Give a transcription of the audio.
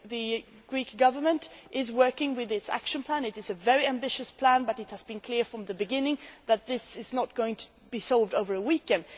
The Greek Government is working with its action plan. It is a very ambitious plan, but it has been clear from the beginning that this is not going to be solved over a weekend.